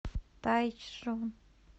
тайчжун